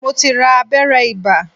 Mo ti ra abẹ́rẹ́ ibà